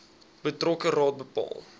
betrokke raad bepaal